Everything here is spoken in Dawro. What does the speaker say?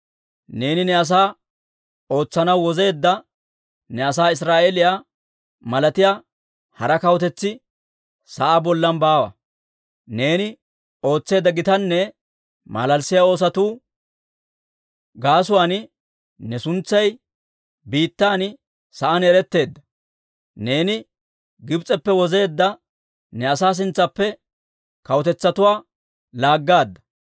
Neeni ne asaa ootsanaw wozeedda ne asaa Israa'eeliyaa malatiyaa hara kawutetsi sa'aa bollan baawa. Neeni ootseedda gitanne malalissiyaa oosotu gaasuwaan ne suntsay biittan sa'aan eretteedda. Neeni Gibs'eppe wozeedda ne asaa sintsaappe kawutetsatuwaa laaggaadda.